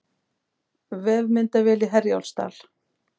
Vefmyndavél í Herjólfsdal